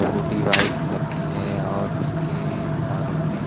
छोटी बाइक लगती है और उसके अ बगल --